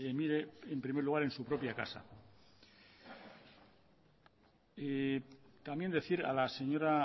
mire en primer lugar en su propia casa también decir a la señora